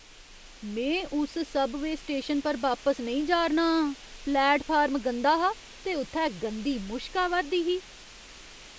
में उस सब वेऽ स्टेशन पर बापस नेईं जा'रना आं। प्लेटफार्म गंदा हा ते उ'त्थै गंदी मुश्क आवा'रदी ही।